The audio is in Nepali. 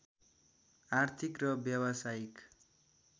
आर्थिक र व्यावसायिक